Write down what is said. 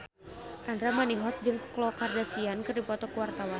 Andra Manihot jeung Khloe Kardashian keur dipoto ku wartawan